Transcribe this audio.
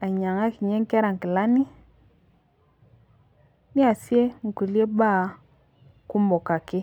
ainyangakinye nkera nkilani niasie nkulie baa kumok ake